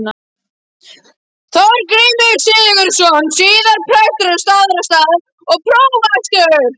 Þorgrímur Sigurðsson, síðar prestur á Staðarstað og prófastur.